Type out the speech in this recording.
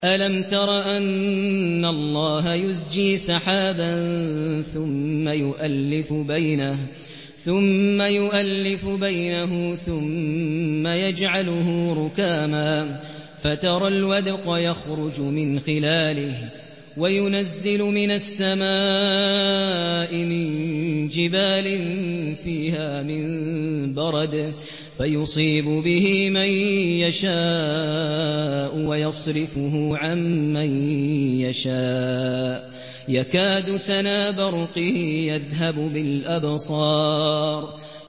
أَلَمْ تَرَ أَنَّ اللَّهَ يُزْجِي سَحَابًا ثُمَّ يُؤَلِّفُ بَيْنَهُ ثُمَّ يَجْعَلُهُ رُكَامًا فَتَرَى الْوَدْقَ يَخْرُجُ مِنْ خِلَالِهِ وَيُنَزِّلُ مِنَ السَّمَاءِ مِن جِبَالٍ فِيهَا مِن بَرَدٍ فَيُصِيبُ بِهِ مَن يَشَاءُ وَيَصْرِفُهُ عَن مَّن يَشَاءُ ۖ يَكَادُ سَنَا بَرْقِهِ يَذْهَبُ بِالْأَبْصَارِ